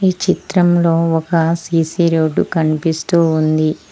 ఈ చిత్రంలో ఒక సీసీ రోడ్డు కనిపిస్తూ ఉంది.